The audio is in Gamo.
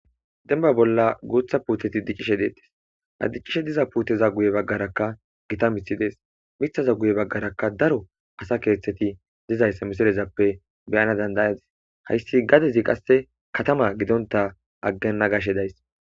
denba bolla guutha puuteti diccishe deettes addicishe diza puuteza guye baggarakka gita mithi dees mithaza guye baggarakka daro asa keeththeti dizayssa misilezappe beyana dandayadis hayssi gadezi qasse katama gidonta aggenna gashe days